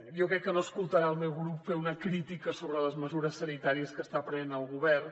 jo crec que no escoltarà el meu grup fer una crítica sobre les mesures sanitàries que està prenent el govern